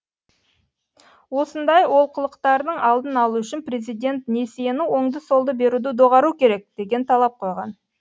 осындай олқылықтардың алдын алу үшін президент несиені оңды солды беруді доғару керек деген талап қойған